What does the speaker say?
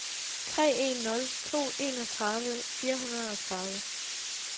tre en nul to enogtredive fire hundrede og tredive